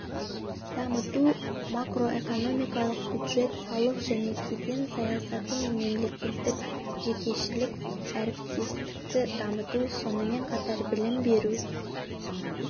дамыту макроэкономикалық бюджет салық және кеден саясаты пен мемлекеттік-жекешелік әріптестікті дамыту сонымен қатар білім беру